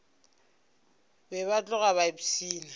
be ba tloga ba ipshina